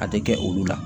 A tɛ kɛ olu la